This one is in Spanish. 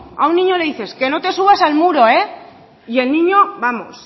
a un niño le dice que no te subas al muro eh y el niño vamos